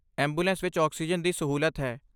Ambulance ਵਿੱਚ oxygen ਦੀ ਸਹੂਲਤ ਹੈ।